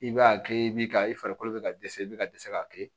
I b'a kɛ i b'i ka i farikolo bɛ ka dɛsɛ i bɛ ka dɛsɛ k'a kɛ